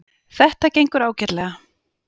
Þetta gengur ágætlega